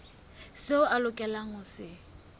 seo a lokelang ho se